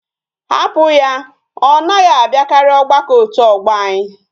Ha put ya! Onaghi abiakari ogbako otu ogbo anyi